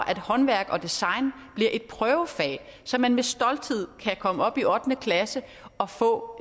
at håndværk og design bliver et prøvefag så man med stolthed kan komme op i ottende klasse og få